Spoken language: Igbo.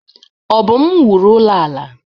Obum wuru ụlọ ala.